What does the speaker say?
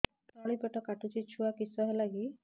ତଳିପେଟ କାଟୁଚି ଛୁଆ କିଶ ହେଲା କି